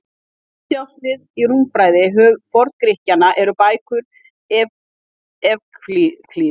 Höfuðdjásnið í rúmfræði Forngrikkjanna eru bækur Evklíðs.